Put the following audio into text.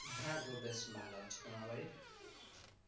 হ্যাঁ গো বেশ ভালো আছে তোমার বাড়ির